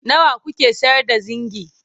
nawa kuke sayar da zingi?